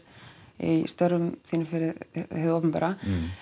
í störfum þínum fyrir hið opinbera